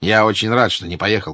я очень рад что не поехал